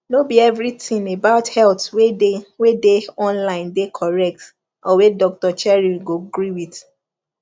no be everything about health wey dey wey dey online dey correct or wey doctor cheryl go gree with